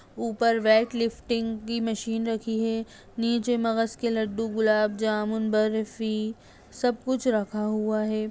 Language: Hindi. ऊपर वेट लिफ्टिंग की मशीन रखी है नीचे मगज़ के लड्डू गुलाब जामुन बर्फी सब कुछ रखा हुआ है।